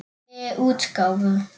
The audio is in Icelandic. Í nýrri útgáfu!